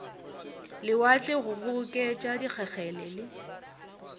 lewatle go kgoboketša dikgegele le